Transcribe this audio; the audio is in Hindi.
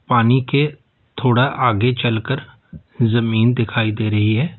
पानी के थोड़ा आगे चल कर जमीन दिखाई दे रही है।